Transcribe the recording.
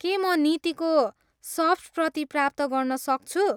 के म नीतिको सफ्ट प्रति प्राप्त गर्न सक्छु?